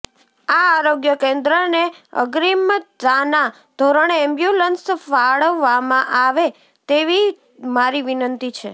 આ આરોગ્ય કેન્દ્રને અગ્રીમતાના ધોરણે એમ્બ્યુલન્સ ફાળવવામાં આવે તેવી મારી વિનંતી છે